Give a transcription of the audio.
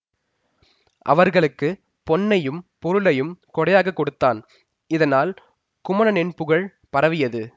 அவர்களுக்கு பொன்னையும் பொருளையும் கொடையாக கொடுத்தான் இதனால் குமணனின் புகழ் பரவியது